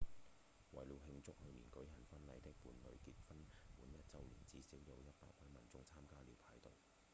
為了慶祝去年舉行婚禮的伴侶結婚滿一週年至少有100位民眾參加了派對